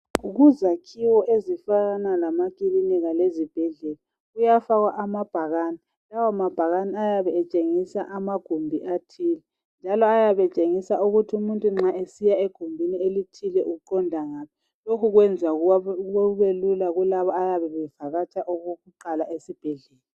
Kuzakhiwo ezifana lamakilinika lezibhedlela kuyafakwa amabhakane lawo mabhakani ayabe etshengisa amagumbi athile njalo ayabe tshengisa ukuthi umuntu nxa esiya egumbuni elithile uqonda ngaphi, lokhu kwenza kubelula kulabo abayabe bevakatsha okokuqala esibhedlela.